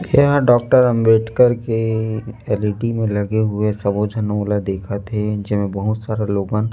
यहाँ डोक्टर अम्बेडकर के L. E. D. में लगे हुए सवोजन वाला देखत हे जो बहुत सारा लोगन--